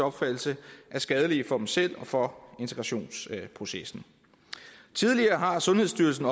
opfattelse er skadelige for dem selv og for integrationsprocessen tidligere har sundhedsstyrelsen